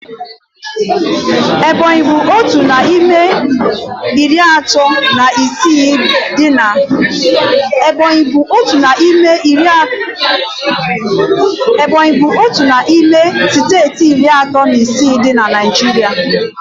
Ebọnyi bụ otu n'ime steeti iri atọ na isii dị na Naijiria